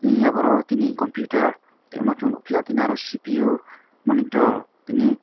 eia boro tini computer tai ma tongo pio aro cpu monitor tini.